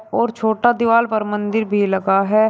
और छोटा दीवाल पर मंदिर भी लगा है।